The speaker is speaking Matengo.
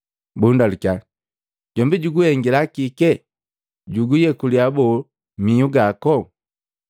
Bundalukiya, “Jombi juguhengi kike? Juguyekula boo, mihu gako?”